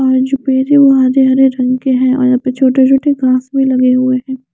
बाहर जो पेड़ हैं वो हरे रंग के हैं और यहाँ पे छोटे-छोटे घास भी लगे हुए हैं।